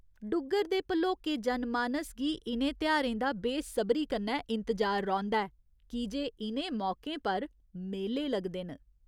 डुग्गर दे भलोके जन मानस गी इ'नें तेहारें दा बेसब्री कन्नै इंतजार रौंह्दा ऐ की जे इ'नें मौकें पर मेले लगदे न।